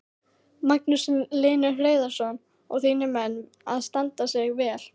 Magnús Hlynur Hreiðarsson: Og þínir menn að standa sig vel?